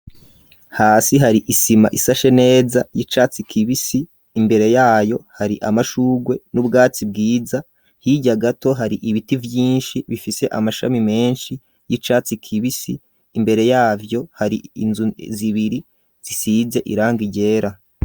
Hasi hari isima, isashe neza, y'icatsi kibisi; imbere yayo, hari amashurwe, n'ubwatsi bwiza; hirya gato, hari ibiti vyinshi, bifise amashami menshi, y'icatsi kibisi; imbere yavyo, hari inzu zibiri, zisize irangi ryera.